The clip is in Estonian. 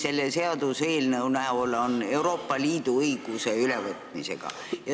Selle seaduseelnõu puhul on tegemist Euroopa Liidu õiguse ülevõtmisega.